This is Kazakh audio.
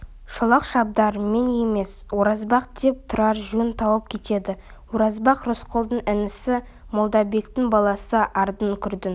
шолақ шабдар мен емес оразбақ деп тұрар жөн тауып кетеді оразбақ рысқұлдың інісі молдабектің баласы ардың-күрдің